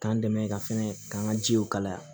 K'an dɛmɛ ka fɛnɛ k'an ka jiw kalaya